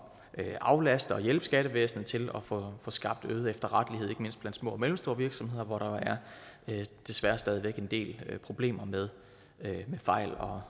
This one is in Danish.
at aflaste og hjælpe skattevæsenet til at få skabt øget efterrettelighed ikke mindst blandt små og mellemstore virksomheder hvor der jo desværre stadig væk er en del problemer med fejl og